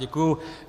Děkuju.